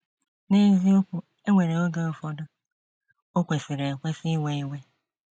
N’eziokwu, e nwere oge ụfọdụ o kwesịrị ekwesị iwe iwe.